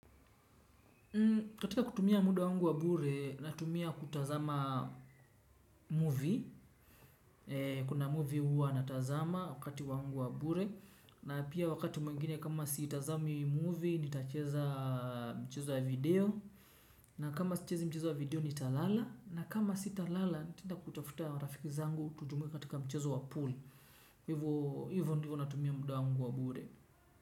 Katika kutumia muda wangu wa bure natumia kutazama movie. Kuna movie huwa natazama wakati wangu wa bure. Na pia wakati mwingine kama siitazami movie nitacheza mchezo ya video. Na kama sichezi mchezo ya video ni talala. Na kama si talala nita kutafuta rafiki zangu tutumia katika mchezo wa pool. Hivo ndivo natumia muda wangu wa bure.